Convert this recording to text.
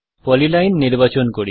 polyline নির্বাচন করি